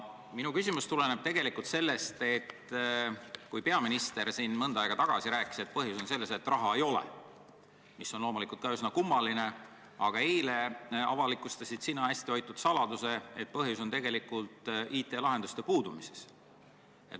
Minu küsimus tuleneb sellest, et peaminister rääkis siin mõnda aega tagasi, et põhjus on selles, et raha ei ole – mis on loomulikult ka üsna kummaline –, aga eile avalikustasid sina hästi hoitud saladuse, et põhjus on tegelikult IT-lahenduste puudumises.